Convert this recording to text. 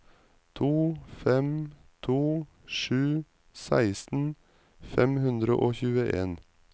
to fem to sju seksten fem hundre og tjueen